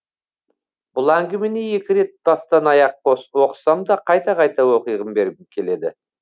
бұл әңгімені екі рет бастан аяқ оқысам да қайта қайта оқиғы бергім келеді